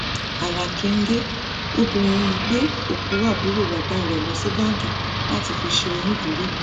ara kẹńgẹ obìnrin yìí gbé òkú àbúrò bàbá rẹ lọ sí báńkì láti fi ṣe onídùúró